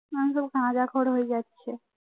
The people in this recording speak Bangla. এখন সব গাঁজাখোর হয়ে যাচ্ছে